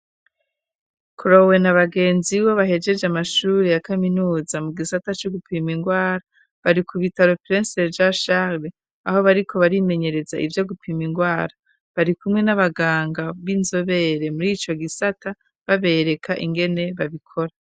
Cloé na bagenzi we, bahejeje amashuri ya kaminuza mu gisata co gupima indwara, bari ku bitaro vyitiriwe Umuganwa Karori, aho bariko barimenyereza ivyo gupima indwara. Bari kumwe n'abaganga b'inzobere murico gisata, babereka ingene babikora.